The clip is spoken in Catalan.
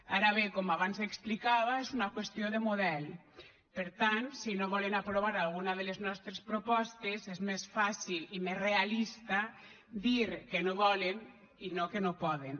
ara bé com abans explicava és una qüestió de model per tant si no volen aprovar alguna de les nostres propostes és més fàcil i més realista dir que no volen i no que no poden